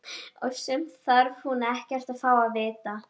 Og sumt þarf hún ekkert að fá að vita.